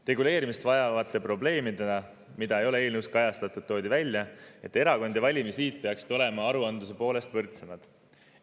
Reguleerimist vajavate probleemidena, mida ei ole eelnõus kajastatud, toodi välja, et erakond ja valimisliit peaksid olema aruandluse poolest võrdsemad.